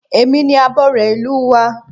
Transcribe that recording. Èmi ni abore ìlú wa